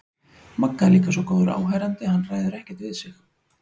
Magga er líka svo góður áheyrandi að hann ræður ekkert við sig.